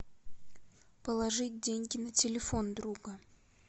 положить деньги на телефон друга